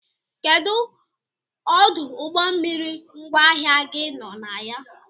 Kedụ ọdụ ụgbọmmiri ngwaahịa gi nọ na ya?